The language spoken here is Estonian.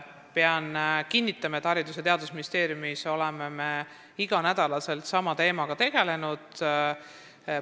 Pean kinnitama, et Haridus- ja Teadusministeeriumis oleme me igal nädalal sama teemaga tegelenud.